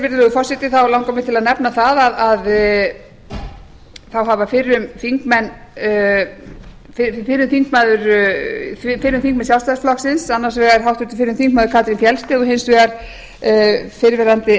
virðulegi forseti langar mig til að nefna það að þá hafa fyrrum þingmenn sjálfstæðisflokksins annars vegar háttvirtur fyrrum þingmaður katrín fjeldsted og hins vegar fyrrverandi